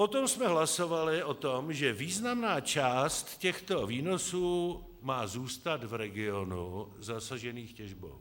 Potom jsme hlasovali o tom, že významná část těchto výnosů má zůstat v regionu zasaženém těžbou.